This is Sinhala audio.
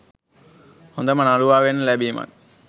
හොඳම නළුවා වෙන්න ලැබීමත්